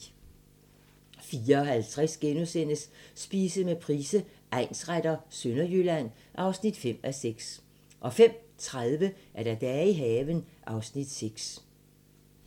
04:50: Spise med Price, egnsretter: Sønderjylland (5:6)* 05:30: Dage i haven (Afs. 6)